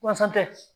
Walasa tɛ